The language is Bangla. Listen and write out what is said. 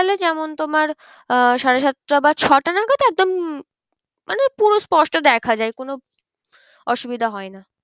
যেমন তোমার আহ সাড়ে সাতটা বা ছটা নাগাদ একদম মানে পুরো পোষ্ট দেখা যায় কোনো অসুবিধা হয় না।